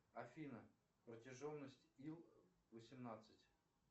афина протяженность ил восемнадцать